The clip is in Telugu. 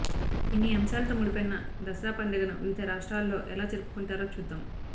ఇన్ని అంశాలతో ముడిపడిన దసరా పండుగను వివిధ రాష్ట్రాలలో ఎలా జరుపుకుంటారో చూద్దాం